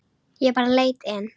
Ég bara leit inn.